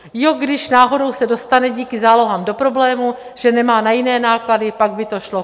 Jo, když náhodou se dostane díky zálohám do problému, že nemá na jiné náklady, pak by to šlo.